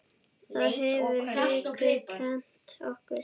Það hefur Haukur kennt okkur.